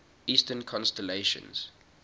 eastern constellations